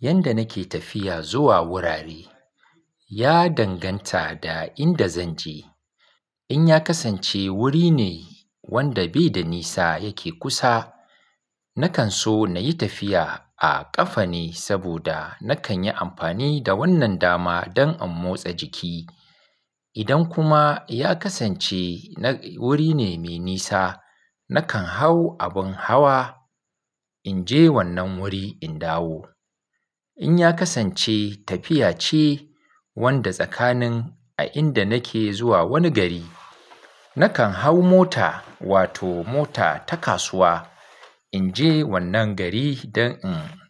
Yanda nake tafiya zuwa wurare, ya danganta da inda zan je. In ya kasance wuri ne wanda bai da nisa yake kusa, nakan so na yi tafiya a ƙafa ne saboda nakan yi amfani da wannan dama don in motsa jiki. Idan kuma ya kasance wuri ne mai nisa, nakan hau abin hawa in je wannan wuri in dawo. In ya kasance tafiya ce wadda tsakanin a inda nake zuwa wani gari, nakan hau mota wato mota ta kasuwa in je wannan gari don in